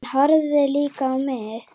Hann horfði líka á mig.